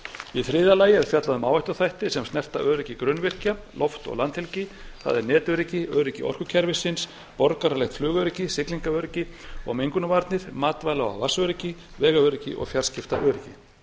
í þriðja lagi er fjallað um áhættuþætti sem snerta öryggi grunnvirkja loft og landhelgi það er netöryggi öryggi orkukerfisins borgaralegt flugöryggi siglingaöryggi mengunarvarnir matvæla og vatnsöryggi vegaöryggi og fjarskiptaöryggi